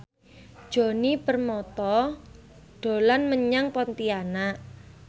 Djoni Permato dolan menyang Pontianak